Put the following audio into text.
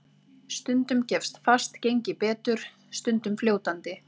Stundum gefst fast gengi betur, stundum fljótandi.